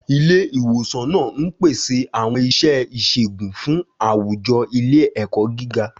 Ilé ìwòsàn náà ń pèsè àwọn iṣẹ́ ìṣègùn fún àwùjọ ilé-ẹ̀kọ́ gíga.